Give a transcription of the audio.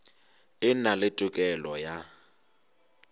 e na le tokelo ya